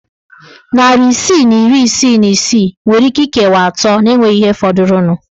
Narị isii na iri isii na isii nwere íké ikewa atọ na enweghị ihe fọdụrụnụ.